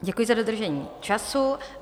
Děkuji za dodržení času.